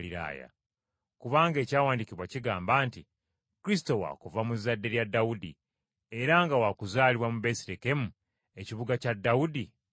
Kubanga Ekyawandiikibwa kigamba nti: Kristo wa kuva mu zzadde lya Dawudi, era nga wa kuzaalibwa mu Besirekemu, ekibuga kya Dawudi mwe yali.